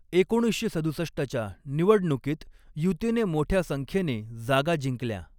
एकोणीसशे सदुसष्टच्या निवडणुकीत युतीने मोठ्या संख्येने जागा जिंकल्या.